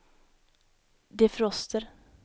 defroster